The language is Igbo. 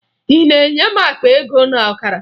Ị na-enye m akpa ego na ọkara?